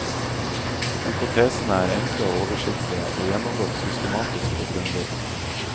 Hypotesene er enkle og oversiktlige, og gjennomgått systematisk og grundig.